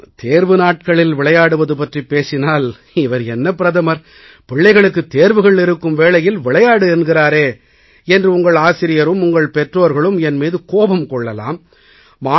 நான் தேர்வு நாட்களில் விளையாடுவது பற்றிப் பேசினால் இவர் என்ன பிரதமர் பிள்ளைகளுக்குத் தேர்வுகள் இருக்கும் வேளையில் விளையாடு என்கிறாரே என்று உங்கள் ஆசிரியரும் உங்கள் பெற்றோர்களும் என் மீது கோபம் கொள்ளலாம்